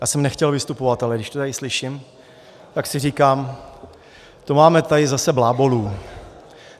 Já jsem nechtěl vystupovat, ale když to tady slyším, tak si říkám: To máme tady zase blábolů!